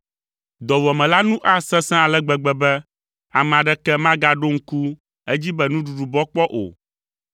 “Dɔwuame la nu asesẽ ale gbegbe be ame aɖeke magaɖo ŋku edzi be nuɖuɖu bɔ kpɔ o.